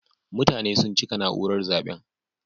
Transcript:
Mutane sun cika naúrar zaben.